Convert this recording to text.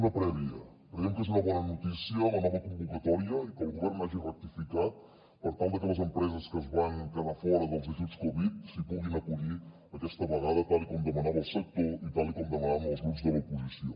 una prèvia creiem que és una bona notícia la nova convocatòria i que el govern hagi rectificat per tal de que les empreses que es van quedar fora dels ajuts covid s’hi puguin acollir aquesta vegada tal com demanava el sector i tal com demanaven els grups de l’oposició